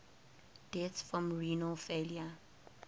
deaths from renal failure